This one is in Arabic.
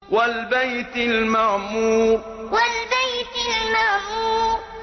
وَالْبَيْتِ الْمَعْمُورِ وَالْبَيْتِ الْمَعْمُورِ